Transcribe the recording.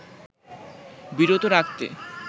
বিরত রাখত